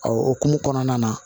o hukumu kɔnɔna na